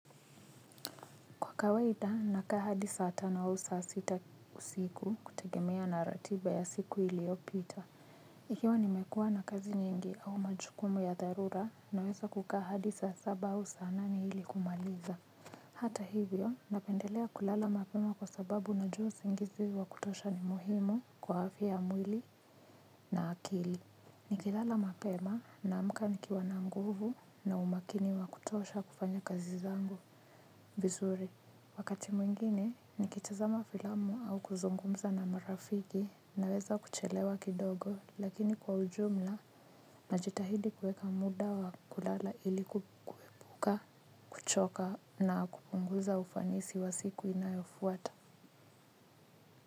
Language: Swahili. Kwa kawaida nakaa hadi saa tana au saa sita usiku kutegemea na ratiba ya siku iliopita. Ikiwa nimekuwa na kazi nyingi au majukumu ya dharura naweza kukaa hadi saa saba hua sa nane hili kumaliza. Hata hivyo napendelea kulala mapema kwa sababu najua singizi wa kutosha ni muhimu kwa afya mwili na akili. Ni kilala mapema naamka nikiwa na nguvu na umakini wa kutosha kufanya kazi zangu vizuri. Wakati mwingine nikitazama filamu au kuzungumza na marafiki naweza kuchelewa kidogo lakini kwa ujumla najitahidi kuweka muda wa kulala ili kuepuka kuchoka na kupunguza ufanisi wa siku inayofuata.